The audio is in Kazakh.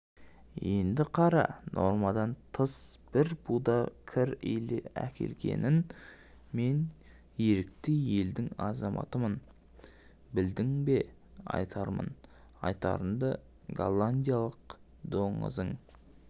енді қара нормадан тыс бір буда кір әкелгенін мен ерікті елдің азаматымын білдің бе айтармын айтарымды голландиялық доңызың